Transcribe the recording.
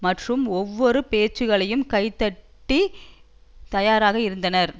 மற்றும் ஒவ்வொருவர் பேசுவதையும் கைதட்டி தயாராக இருந்தனர்